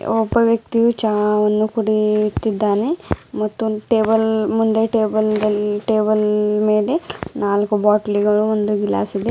ಒಬ್ಬ ವ್ಯಕ್ತಿಯು ಚಹವನ್ನು ಕುಡಿಯುತ್ತಿದ್ದಾನೆ ಮತ್ತೊಂದ್ ಟೇಬಲ್ ಮುಂದೆ ಟೇಬಲ್ ದಲ್ಲಿ ಟೇಬಲ್ ಮೇಲೆ ನಾಲ್ಕು ಬಾಟಲಿಗಳು ಒಂದು ಗ್ಲಾಸ್ ಇದೆ.